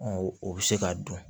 Ɔ o bɛ se k'a dun